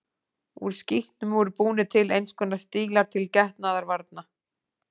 Úr skítnum voru búnir til eins konar stílar til getnaðarvarna.